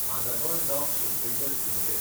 Mazagon dock shipbuilders limited